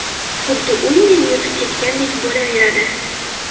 Xuddi uy meni yutib ketgandek bo‘laveradi.